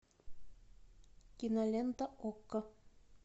кинолента окко